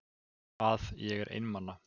Að ég er einmana.